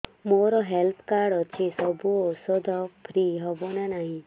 ମୋର health card ଅଛି ସବୁ ଔଷଧ ଫ୍ରି ହବ ନା ନାହିଁ